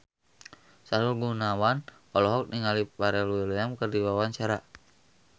Sahrul Gunawan olohok ningali Pharrell Williams keur diwawancara